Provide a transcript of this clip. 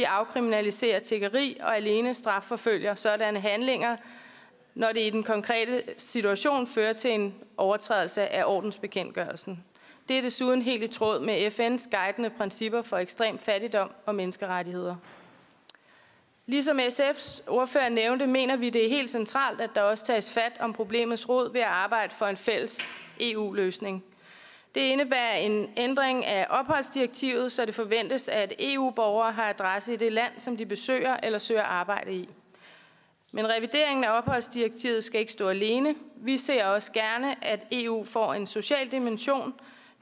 afkriminaliserer tiggeri og alene strafforfølger sådanne handlinger når det i den konkrete situation fører til en overtrædelse af ordensbekendtgørelsen det er desuden helt i tråd med fns guidende principper for ekstrem fattigdom og menneskerettigheder ligesom sfs ordfører nævnte mener vi det er helt centralt at der også tages fat om problemets rod ved at arbejde for en fælles eu løsning det indebærer en ændring af opholdsdirektivet så det forventes at eu borgere har adresse i det land som de besøger eller søger arbejde i men revideringen af opholdsdirektivet skal ikke stå alene vi ser også gerne at eu får en social dimension